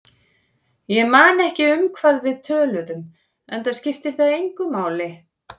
Ég man ekki um hvað við töluðum, enda skipti það engu máli.